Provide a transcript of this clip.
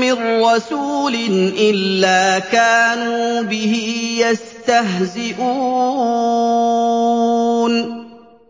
مِّن رَّسُولٍ إِلَّا كَانُوا بِهِ يَسْتَهْزِئُونَ